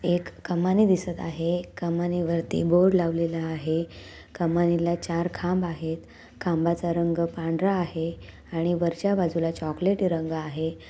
एक कमानी दिसत आहे कमानी वरती बोर्ड लावलेला आहे. कमानीला चार खांब आहेत खांबाचा रंग पांढरा आहे आणि वरच्या बाजूला चोक्लेटी रंग आहे.